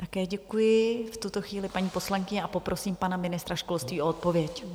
Také děkuji v tuto chvíli paní poslankyni a poprosím pana ministra školství o odpověď.